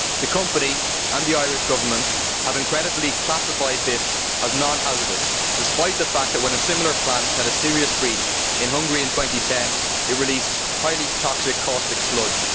The company and the Irish Government have incredibly classified this as non hazardous, despite the fact that, when a similar plant had a serious breach in Hungary in 2010, it released highly toxic caustic sludge.